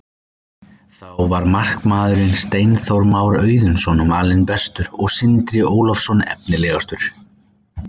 Þar var markvörðurinn Steinþór Már Auðunsson valinn bestur og Sindri Ólafsson efnilegastur.